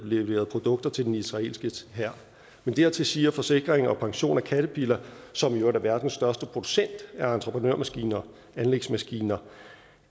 leveret produkter til den israelske hær men dertil siger forsikring pension om caterpillar som i øvrigt er verdens største producent af entreprenørmaskiner og anlægsmaskiner